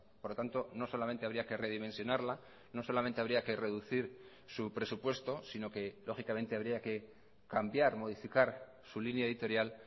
por lo tanto no solamente habría que redimensionarla no solamente habría que reducir su presupuesto sino que lógicamente habría que cambiar modificar su línea editorial